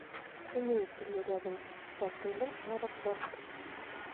имеется ли рядом с отелем аэропорт